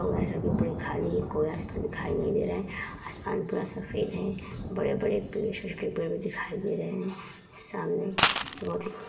पूरा खाली है। कोई रास्ता दिखाई नहीं दे रहा है। आसमान पूरा सफ़ेद है। बड़े-बड़े पेड़ छोटे-छोटे पेड़ दिखाई दे रहे हैं। सामने --